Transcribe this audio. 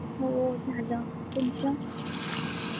हो, झाल, तुमच?